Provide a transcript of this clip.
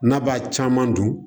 N'a b'a caman dun